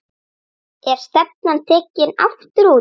Er stefnan tekin aftur út?